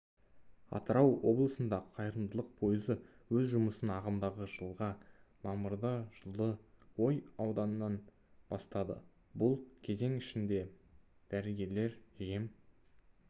атырау облысында қайырымдылық пойызы өз жұмысын ағымдағы жылғы мамырда жылы ой ауданынан бастады бұл кезең ішінде дәрігерлер жем